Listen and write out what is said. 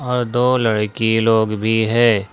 और दो लड़की लोग भी है।